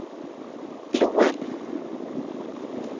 Loen